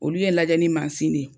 Olu ye bɛ lajɛ ni masin de ye